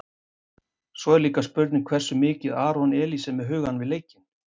Svo er líka spurning hversu mikið Aron Elís er með hugann við leikinn?